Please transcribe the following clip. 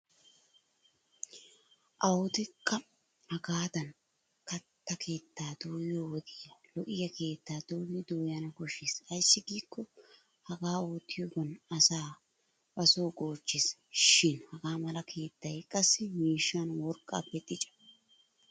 Awudekka hagaadan katta keettaa dooyiyo wodiya lo'iya keettaa dooridi dooyana koshshes ayssi giikko hagaa oottiyoogan asaa ba Soo goochches. Shin hagaa mala keettay qassi miishshan worqqaappe dica.